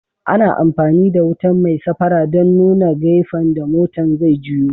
Ana amfani da wutan mai safara dan nuna gafen da motan zai juyo.